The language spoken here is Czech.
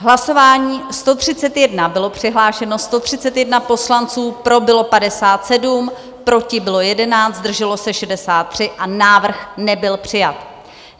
V hlasování 131 bylo přihlášeno 131 poslanců, pro bylo 57, proti bylo 11, zdrželo se 63, a návrh nebyl přijat.